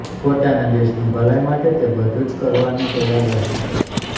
પોતાના દેશની ભલાઇ માટે તે બધું જ કરવાને તૈયાર રહે છે